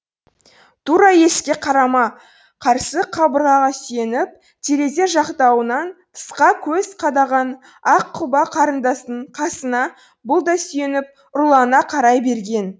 тура есікке қарама қарсы қабырғаға сүйеніп терезе жақтауынан тысқа көз қадаған ақ құба қарындастың қасына бұл да сүйеніп ұрлана қарай берген